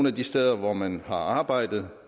af de steder hvor man har arbejdet